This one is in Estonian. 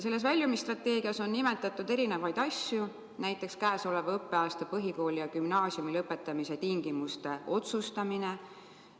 Selles väljumisstrateegias on nimetatud erinevaid asju, näiteks käesoleva õppeaasta põhikooli ja gümnaasiumi lõpetamise tingimuste otsustamine.